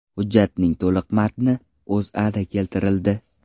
Hujjatning to‘liq matni O‘zAda keltirildi .